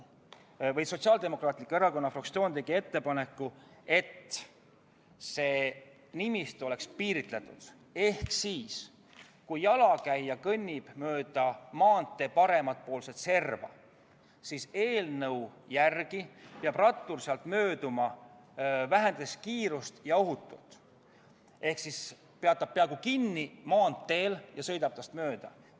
Sotsiaaldemokraatliku Erakonna fraktsioon tegi ettepaneku, et see nimistu oleks piiratum, ehk siis, kui jalakäija kõnnib mööda maantee parempoolset serva, peab rattur eelnõu järgi temast mööduma ohutult ja kiirust vähendades, st ta peab maanteel peaaegu kinni ja sõidab temast mööda.